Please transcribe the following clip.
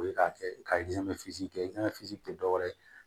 O ye k'a kɛ ka kɛ tɛ dɔwɛrɛ ye